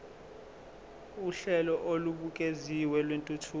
uhlelo olubukeziwe lwentuthuko